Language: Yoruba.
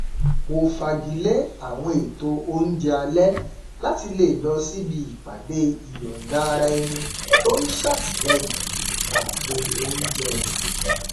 mo fagilé àwọn ètò oúnjẹ alẹ láti lè lọ síbi ìpàdé ìyọndaaraẹni tó n ṣàtìlẹyìn ààbò oúnjẹ